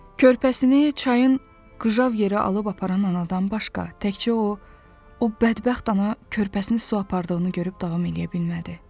Körpəsini çayın qıjav yerə alıb aparan anadan başqa təkcə o, o bədbəxt ana körpəsini su apardığını görüb davam edə bilmədi.